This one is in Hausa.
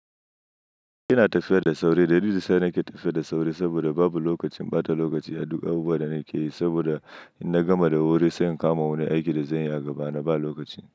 Ina tafiya da sauri, dalilin sa ni ke tafiya da sauri saboda babu lokacin, bata lokaci a duk abubuwan da nake yi saboda in na gama da wuri sai in kama wani aikin da zanyi a gaba, naba lokaci.